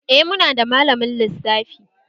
Eh, muna da malamin lissafi